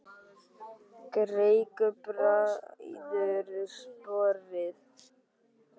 Greikka bræður sporið.